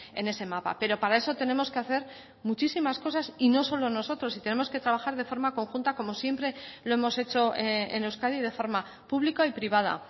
en ese mapa pero para eso tenemos que hacer muchísimas cosas y no solo nosotros y tenemos que trabajar de forma conjunta como siempre lo hemos hecho en euskadi de forma pública y privada